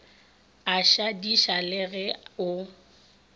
a šadiša le ge o